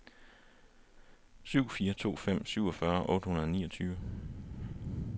syv fire to fem syvogfyrre otte hundrede og niogtyve